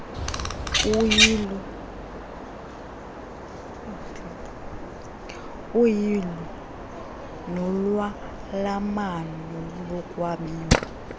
uyilo lolwalamano nokwabiwa